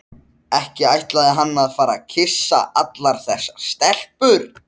Fjarki, hvað er á áætluninni minni í dag?